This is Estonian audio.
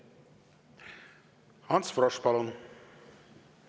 Ants Frosch, palun!